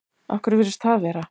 Af hverju virðist það vera?